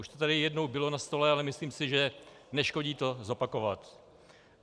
Už to tady jednou bylo na stole, ale myslím si, že neškodí to zopakovat.